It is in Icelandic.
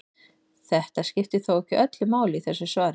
Þetta skiptir þó ekki öllu máli í þessu svari.